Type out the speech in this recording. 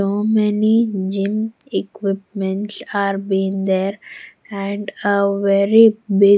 So many gym equipment's are been there and a very big.